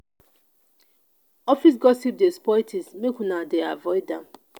office gossip dey spoil tins make una dey avoid am.